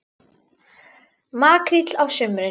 Makríll á sumrin.